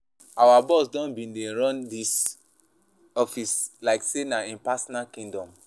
Our boss don bin dey run dis office like sey na im personal kingdom.